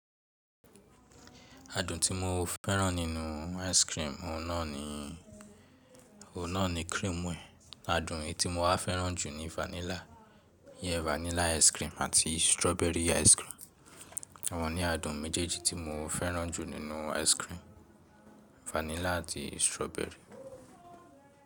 Adùn tí mo fẹ́ràn nínú ice cream, òun náà ni, òun náà ni cream ẹ. Adùn èyí tí mo wá fẹ́ràn jù ni vanilla. Iyen vanilla ice cream àti strawberry ice cream. Awọ́n ni adùn méjèèjì tí mo fẹ́ràn jù nínú ice cream, vanilla àti strawberry.